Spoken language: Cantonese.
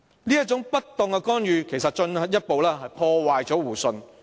這種不當的干預進一步破壞了互信。